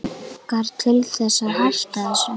Langar þig til þess að hætta þessu?